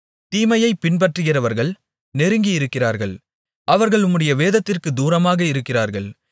தீமையைப் பின்பற்றுகிறவர்கள் நெருங்கி இருக்கிறார்கள் அவர்கள் உம்முடைய வேதத்திற்குத் தூரமாக இருக்கிறார்கள்